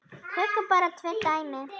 Tökum bara tvö dæmi.